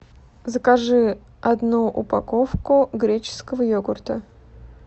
закажи одну упаковку греческого йогурта